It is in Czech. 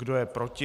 Kdo je proti?